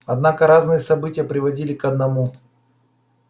однако разные события приводили к одному